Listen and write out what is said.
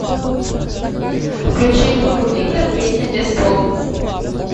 включи группу виктор песня без слов